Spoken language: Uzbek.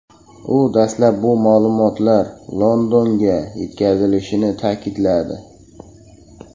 U dastlab bu ma’lumotlar Londonga yetkazilishini ta’kidladi.